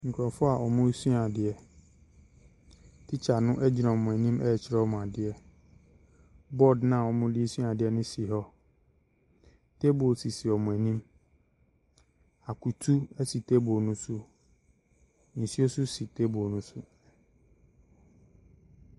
Nkorɔfo aa ɔmo sua adeɛ tikya no gyina ɔmo enim ɛkyerɛ adeɛ bɔd na ɔmo de sua ade no si hɔ tebels sisi ɔmo enim akutu esi tebel no so nsuo so si tebel no so.